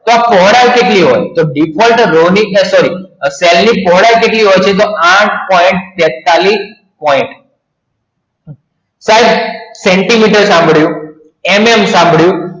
હવે પહોળાઈ કેટલી હોય તો default રોની અત્યારની પહોળાઈ કેટલી હોય છે તો આઠ point તેતાલીસ પોઈન્ટ સેન્ટીમીટર માં મળ્યું MM આપવી